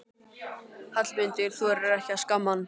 Hallmundur þorir ekki að skamma hann.